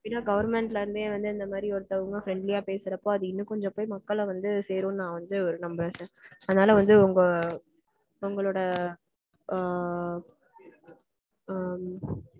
main ஆ government ல இருந்தே வந்து இந்த மாதிரி ஒருத்தவங்க friendly யா பேசறப்போ அது இன்னும் கொஞ்சம் போய் மக்கள வந்து சேரும்னு நா வந்து நம்பறேன் sir. அதனால வந்து உங்க உங்களோட ஆஹ் உம்